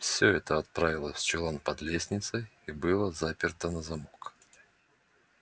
всё это отправилось в чулан под лестницей и было заперто на замок